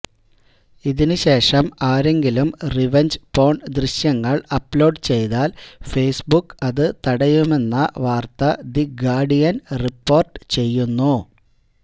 ഇതിന് ശേഷം ആരെങ്കിലും റിവഞ്ച് പോണ് ദൃശ്യങ്ങള് അപ്ലോഡ് ചെയ്താല് ഫേസ്ബുക്ക് അത് തടയുമെന്ന വാര്ത്തദി ഗാര്ഡിയന് റിപ്പോര്ട്ട് ചെയ്യുന്നു